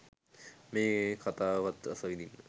මේ කතාවත් රසවිදින්න